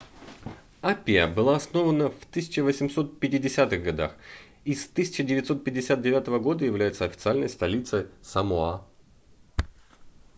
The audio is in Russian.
апиа была основана в 1850-х годах и с 1959 года является официальной столицей самоа